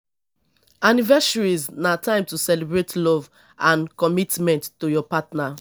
anniversaries na time to celebrate love and commitment to your partner